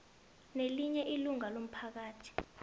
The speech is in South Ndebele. nelinye ilunga lomphakathi